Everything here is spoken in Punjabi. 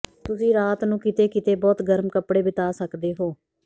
ਤੁਸੀਂ ਰਾਤ ਨੂੰ ਕਿਤੇ ਕਿਤੇ ਬਹੁਤ ਗਰਮ ਕਪੜੇ ਬਿਤਾ ਸਕਦੇ ਹੋ